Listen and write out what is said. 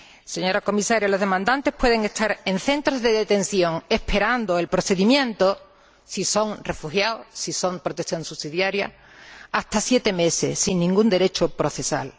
Señora Comisaria, los solicitantes pueden estar en centros de detención esperando el procedimiento si son refugiados, si son objeto de protección subsidiaria hasta siete meses, sin ningún derecho procesal.